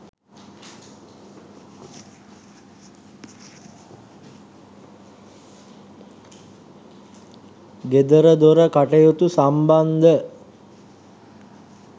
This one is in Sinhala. ගෙදරදොර කටයුතු සම්බන්ධ